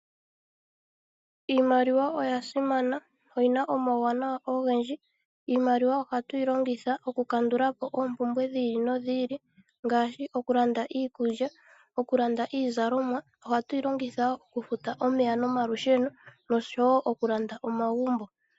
Iimaliwa oya simana oyina omauwanawa ogendji. Iimaliwa ohatu yi longitha oku kandula po oompumbwe dhi ili nodhi ili ngaashi okulanda iikulya, oku landa iizalomwa, okufuta omeya nomalusheno oshowo oku landa omagumbo.